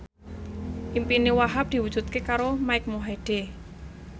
impine Wahhab diwujudke karo Mike Mohede